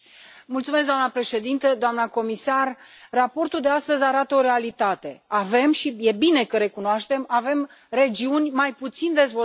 Doamnă președintă, doamnă comisar, raportul de astăzi arată o realitate avem, și e bine că recunoaștem, regiuni mai puțin dezvoltate.